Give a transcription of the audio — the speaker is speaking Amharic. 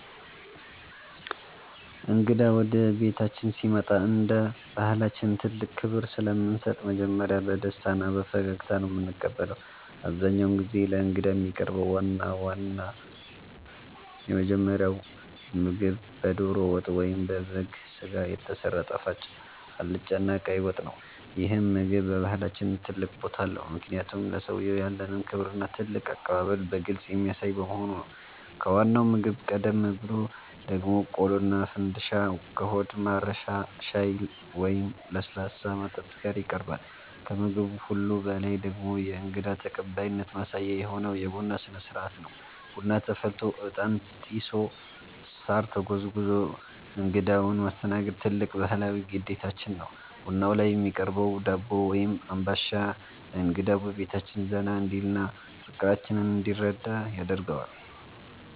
እንግዳ ወደ ቤታችን ሲመጣ እንደ ባሕላችን ትልቅ ክብር ስለምንሰጥ መጀመሪያ በደስታና በፈገግታ ነው የምንቀበለው። አብዛኛውን ጊዜ ለእንግዳ የሚቀርበው ዋናውና የመጀመሪያው ምግብ በደሮ ወጥ ወይም በበግ ሥጋ የተሰራ ጣፋጭ አልጫና ቀይ ወጥ ነው። ይህ ምግብ በባሕላችን ትልቅ ቦታ አለው፤ ምክንያቱም ለሰውየው ያለንን ክብርና ትልቅ አቀባበል በግልጽ የሚያሳይ በመሆኑ ነው። ከዋናው ምግብ ቀደም ብሎ ደግሞ ቆሎና ፈንድሻ ከሆድ ማረሻ ሻይ ወይም ለስላሳ መጠጥ ጋር ይቀርባል። ከምግብ ሁሉ በላይ ደግሞ የእንግዳ ተቀባይነት ማሳያ የሆነው የቡና ሥነ-ሥርዓት ነው። ቡና ተፈልቶ፣ ዕጣን ጢሶ፣ ሳር ተጎዝጉዞ እንግዳውን ማስተናገድ ትልቅ ባሕላዊ ግዴታችን ነው። ቡናው ላይ የሚቀርበው ዳቦ ወይም አምባሻ እንግዳው በቤታችን ዘና እንዲልና ፍቅራችንን እንዲረዳ ያደርገዋል።